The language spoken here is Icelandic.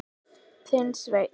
Þinn Sveinn.